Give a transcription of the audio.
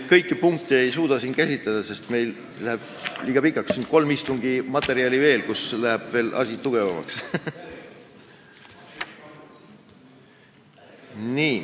Kõiki punkte ei suuda käsitleda, sest jutt läheks liiga pikaks, siin on kolme istungi materjal veel, kus asi läheb veel tugevamaks. .